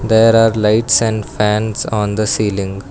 There are lights and fans on the ceiling.